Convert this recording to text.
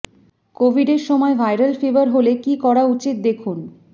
কোভিডের সময় viral fever হলে কী করা উচিত দেখুন